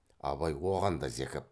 абай оған да зекіп